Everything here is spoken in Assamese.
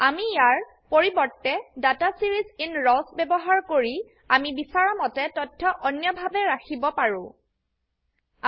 আমি ইয়াৰ পৰিবৰ্তে ডাটা ছিৰিজ ইন ৰাৱছ ব্যবহাৰ কৰি আমি বিছৰামতে তথ্য অন্যভাবে ৰাখিব প্লট কৰিব পাৰো